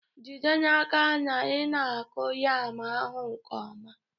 Jide n'aka na ị na-akụ yam ahụ nke ọma